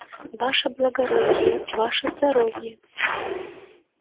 ваше благородие ваше здоровье